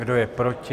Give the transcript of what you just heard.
Kdo je proti?